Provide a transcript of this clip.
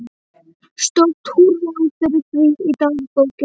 Stórt húrra fyrir því í dagbókinni.